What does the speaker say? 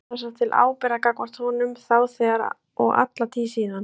Ég fann sem sagt til ábyrgðar gagnvart honum þá þegar og alla tíð síðan.